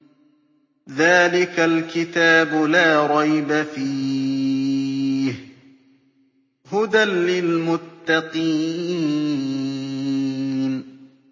ذَٰلِكَ الْكِتَابُ لَا رَيْبَ ۛ فِيهِ ۛ هُدًى لِّلْمُتَّقِينَ